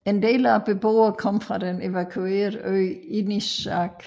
En del af beboerne kommer fra den evakuerede ø Inishark